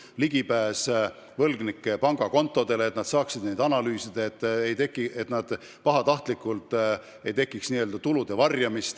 Nad said ligipääsu võlgnike pangakontodele, et nad saaksid neid analüüsida, et poleks võimalik pahatahtlikult tulusid varjata.